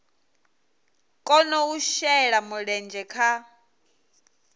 kona u shela mulenzhe kha